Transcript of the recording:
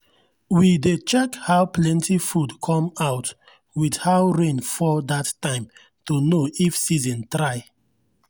we dey check how plenty food come out with how rain fall that time to know if season try.